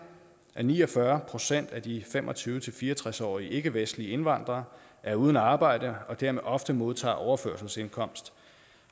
at ni og fyrre procent af de fem og tyve til fire og tres årige ikkevestlige indvandrere er uden arbejde og dermed ofte modtager overførselsindkomst